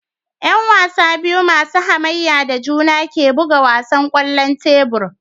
Yan wasa biyu masu hamayya da juna ne ke buga wasan kwallon tebur